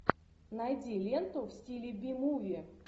найди ленту в стиле би муви